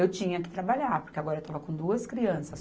Eu tinha que trabalhar, porque agora eu estava com duas crianças.